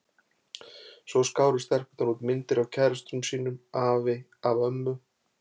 Svo skáru stelpurnar út myndir af kærustunum sínum og afi af ömmu.